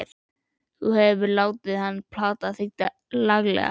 Þú hefur látið hann plata þig laglega!